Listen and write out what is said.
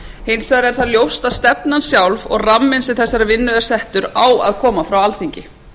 hins vegar er ljóst að stefnan sjálf og ramminn sem þessari vinnu er settur á að koma frá alþingi